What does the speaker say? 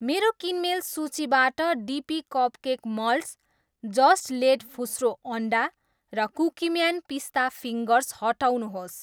मेरो किनमेल सूचीबाट डिपी कपकेक मल्ड्स, जस्ट लेड फुस्रो अन्डा र कुकिम्यान पिस्ता फिङ्गर्स हटाउनुहोस्।